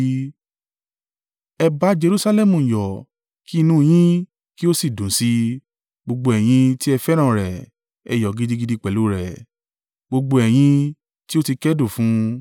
“Ẹ bá Jerusalẹmu yọ̀ kí inú yín kí ó sì dùn sí i, gbogbo ẹ̀yin tí ẹ fẹ́ràn rẹ̀; ẹ yọ̀ gidigidi pẹ̀lú rẹ̀, gbogbo ẹ̀yin tí ó ti kẹ́dùn fún un.